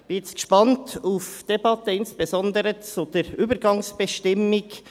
Ich bin jetzt gespannt auf die Debatte, insbesondere zur Übergangsbestimmung.